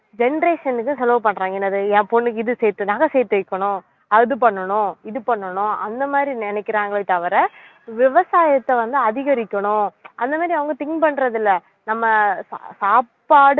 generation க்கு செலவு பண்றாங்க என்னது என் பொண்ணுக்கு இது சேர்த்~ நகை சேர்த்து வைக்கணும் அது பண்ணணும் இது பண்ணணும் அந்த மாதிரி நினைக்கிறாங்களே தவிர விவசாயத்தை வந்து அதிகரிக்கணும் அந்த மாதிரி அவங்க think பண்றது இல்லை நம்ம சாப்பாடு